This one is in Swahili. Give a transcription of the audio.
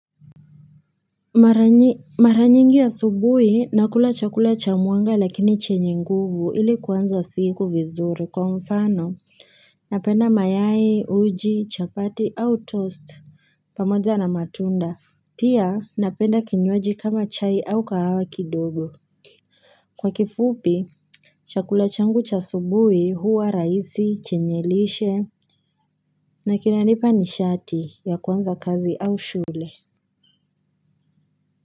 Mara nyi mara nyingi ya asubuhi nakula chakula cha muanga lakini chenye nguvu ili kuanza siku vizuri. Kwa mfano napenda mayai, uji, chapati au toast pamoja na matunda pia napenda kinywaji kama chai au kahawa kidogo kwa kifupi chakula changu cha asubuhi huwa rahisi, chenye lishe na kinanipa nishati ya kuanza kazi au shule.